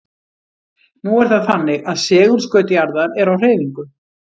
Nú er það þannig að segulskaut jarðar er á hreyfingu.